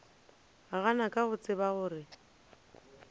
gana ka go tseba gore